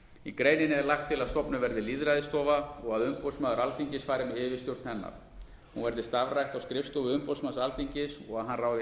í greininni er lagt til að stofnuð verði lýðræðisstofa og að umboðsmaður alþingis fari með yfirstjórn hennar hún verði starfrækt á skrifstofu umboðsmanns alþingis og að hann ráði